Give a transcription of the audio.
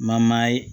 Mamaya ye